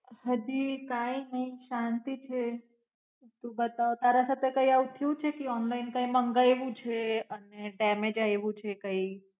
હજી કાંઈ નાઈ શાંતિ છે. તું બતાવ તારા સાથે કઈ આવું થયું છે કે ઓનલાઇન કઈ મંગાઇવુ છે અને ટાઇમ એ જાય એવું કઈ?